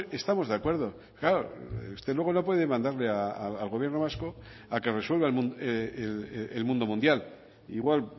estamos de acuerdo claro usted luego no puede mandarle al gobierno vasco a que resuelva el mundo mundial igual